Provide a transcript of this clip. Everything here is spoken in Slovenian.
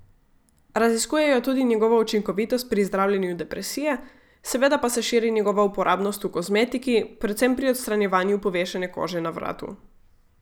Raziskujejo tudi njegovo učinkovitost pri zdravljenju depresije, seveda pa se širi njegova uporabnost v kozmetiki, predvsem pri odstranjevanju povešene kože na vratu.